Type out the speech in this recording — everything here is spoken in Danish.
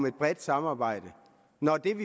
et bredt samarbejde